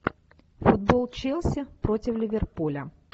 футбол челси против ливерпуля